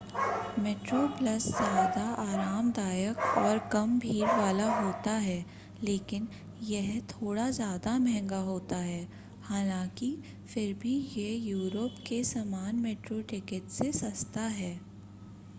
Metro Plus ज़्यादा आरामदायक और कम भीड़ वाला होता है लेकिन यह थोड़ा ज़्यादा महंगा होता है हालांकि फिर भी यह यूरोप के सामान्य मेट्रो टिकिट से सस्ता है